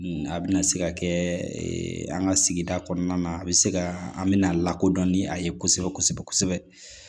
A bɛna se ka kɛ an ka sigida kɔnɔna na a bɛ se ka an bɛna lakodɔn ni a ye kosɛbɛ kosɛbɛ